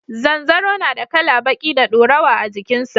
Zanzaro na da kala baƙi da dorawa a jikin sa